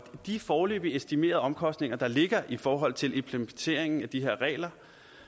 de foreløbigt estimerede omkostninger der ligger i forhold til implementeringen af de her regler